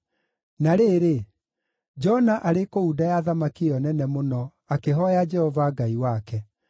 Na rĩrĩ, Jona arĩ kũu nda ya thamaki ĩyo nene mũno akĩhooya Jehova Ngai wake.